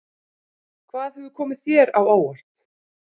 Hvað hefur komið þér á óvart?